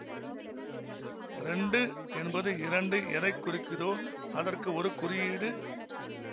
இரண்டு என்பது இரண்டு எதை குறிக்கிதோ அதற்கு ஒரு குறியீடு